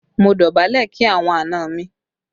Mo dọ̀bálẹ̀ kí àwọn àna mi